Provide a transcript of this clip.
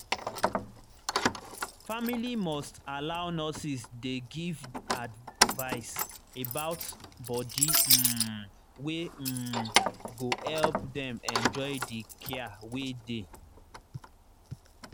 family must allow nurses dey give advice about body um wey um go help dem enjoy the care wey dey.